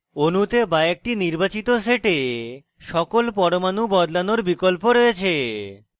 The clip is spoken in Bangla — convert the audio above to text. অণুতে বা একটি নির্বাচিত set সকল পরমাণু বদলানোর বিকল্প রয়েছে